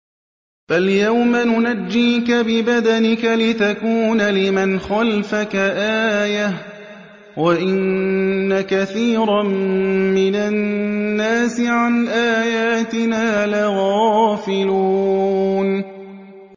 فَالْيَوْمَ نُنَجِّيكَ بِبَدَنِكَ لِتَكُونَ لِمَنْ خَلْفَكَ آيَةً ۚ وَإِنَّ كَثِيرًا مِّنَ النَّاسِ عَنْ آيَاتِنَا لَغَافِلُونَ